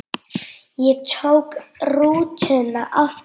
Ég tók rútuna aftur til